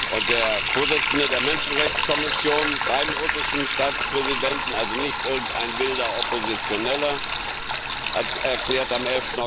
Und der Vorsitzende der Menschenrechtskommission beim russischen Staatspräsidenten, also nicht irgendein wilder Oppositioneller, hat am